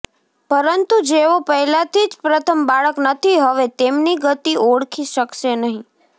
પરંતુ જેઓ પહેલાથી જ પ્રથમ બાળક નથી હવે તેમની ગતિ ઓળખી શકશે નહીં